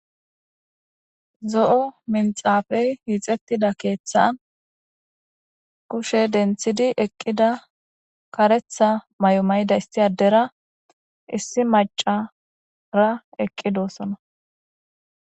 Zo'o minxafey hiixettida keeththan kushe denthidi eqqida karetha maY'o mayda isti adera issi macara eqqidoosona